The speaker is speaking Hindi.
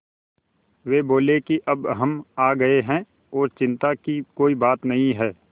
वे बोले कि अब हम आ गए हैं और चिन्ता की कोई बात नहीं है